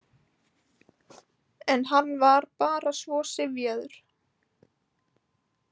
En hann var bara svo syfjaður.